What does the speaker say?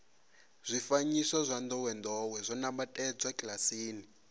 zwifanyiso zwa ndowendowe zwo nambatsedzwa kilasini